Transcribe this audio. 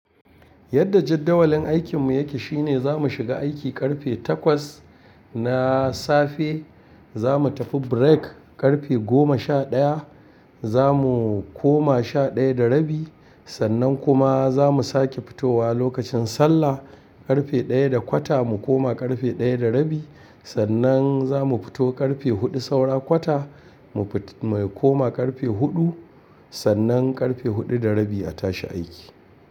Yadda jadawalin aikin mu yake shine za mu shiga aiki ƙarfe takwas na safe. Za mu tafi break ƙarfe goma sha ɗaya. Za mu koma sha ɗaya da rabi. Sannan kuma za mu sake fitowa lokacin sallah ƙarfe ɗaya da kwata mu kuma ƙarfe ɗaya da rabi. Sannan za mu fito ƙarfe huɗu saura kwata mu kuma ƙarfe huɗu. Sannan ƙarfe huɗu da rabi a tashi aiki.